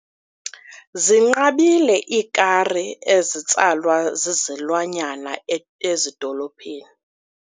Zinqabile iikari ezitsalwa zizilwanyana ezidolophini.